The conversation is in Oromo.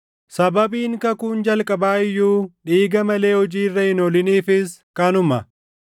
Sababiin kakuun jalqabaa iyyuu dhiiga malee hojii irra hin ooliniifis kanuma.